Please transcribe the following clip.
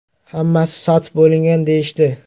Hammasi sotib bo‘lingan deyishdi.